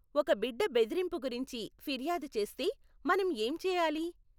ఒక బిడ్డ బెదిరింపు గురించి ఫిర్యాదు చేస్తే మనం ఏం చెయ్యాలి?